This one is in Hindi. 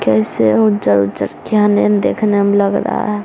कैसे वो जर देखने म लग रहा है।